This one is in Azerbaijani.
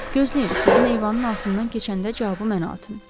Gözləyin, sizin eyvanın altından keçəndə cavabı mənə atın.